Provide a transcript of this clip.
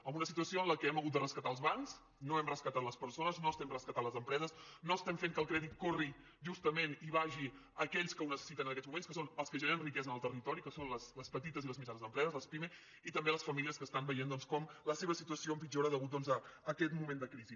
en una situació en què hem hagut de rescatar els bancs no hem rescatat les persones no hem rescatat les empreses no estem fent que el crèdit corri justament i vagi a aquells que ho necessiten en aquests moments que són els que generen riquesa en el territori que són les petites i les mitjanes empreses les pimes i també les famílies que estan veient com la seva situació empitjora a causa d’aquest moment de crisi